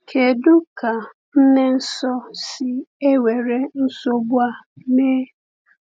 Kedu ka nne Nsọ si ewere nsogbu a mee?